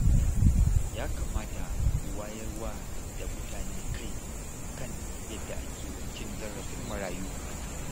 Ya kamata ku wayar wa da mutane kai a kan yadda ake cin zarafin marayu